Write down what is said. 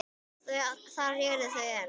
Þar eru þau enn.